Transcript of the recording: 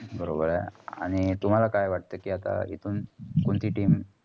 बरोबर आहे. आणि तुमाला काय वाटत कि हितून कोणती team?